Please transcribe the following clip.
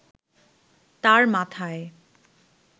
তাঁর মাথায়